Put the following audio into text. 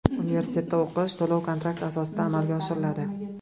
Universitetda o‘qish to‘lov-kontrakt asosida amalga oshiriladi.